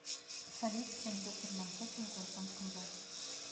салют с кем доктор манхэттан в гражданском браке